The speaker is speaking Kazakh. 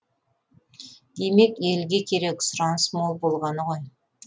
демек елге керек сұраныс мол болғаны ғой